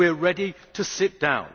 We are ready to sit